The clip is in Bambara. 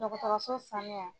Dɔgɔtɔrɔso sanuya.